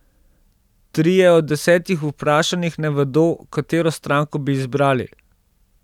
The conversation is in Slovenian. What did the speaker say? Trije od desetih vprašanih ne vedo, katero stranko bi izbrali.